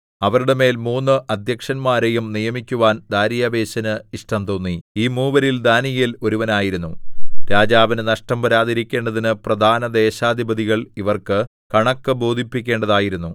അവരുടെ മേൽ മൂന്ന് അദ്ധ്യക്ഷന്മാരെയും നിയമിക്കുവാൻ ദാര്യാവേശിന് ഇഷ്ടം തോന്നി ഈ മൂവരിൽ ദാനീയേൽ ഒരുവനായിരുന്നു രാജാവിന് നഷ്ടം വരാതിരിക്കേണ്ടതിന് പ്രധാനദേശാധിപതികൾ ഇവർക്ക് കണക്ക് ബോധിപ്പിക്കേണ്ടതായിരുന്നു